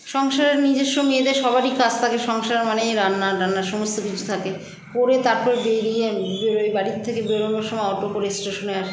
সংসারে নিজস্ব মেয়েদের সবারই কাজ থাকে সংসার মানেই রান্না টান্না সমস্ত কিছু থাকে করে তারপর বেড়িয়ে ম বেড়োই বাড়ি থেকে বেড়োনোর সময় auto করে station -এ আসি